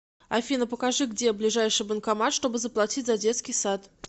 афина покажи где ближайший банкомат чтобы заплатить за детский сад